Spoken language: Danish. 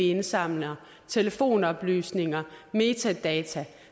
indsamles telefonoplysninger og metadata